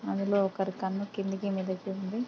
అందులో ఒకరి కన్ను కిందకి మీదకి ఉంది.